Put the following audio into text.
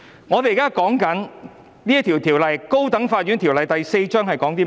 我們現在所討論的《高等法院條例》是關於甚麼的呢？